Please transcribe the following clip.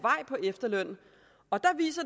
efterløn og